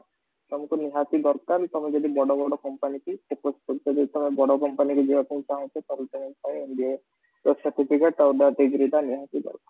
ତମକୁ ନିହାତି ଦରକାର କି ତମେ ଜଦି ବଡ଼ ବଡ଼ company କି focus କରୁଛ କି ଯଦି ତମେ ବଡ଼ ବଡ଼ company କୁ ଯିବାକୁ ଚାହୁଁଚ ତ ତମ ପାଇଁ MBA degree ଟା ନିୟହାତି ଦରକାର